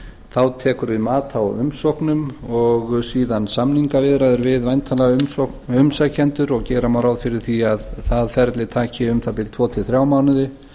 þá tekur við mat á umsóknum og síðan samningaviðræður við væntanlega umsækjendur og gera má ráð fyrir því að það ferli taki um það bil tvo til þrjá mánuði